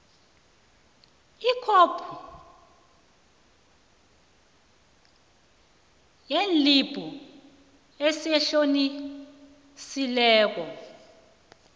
ikhophi yeslibhu esitlolisiweko